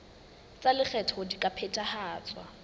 tsa lekgetho di ka phethahatswa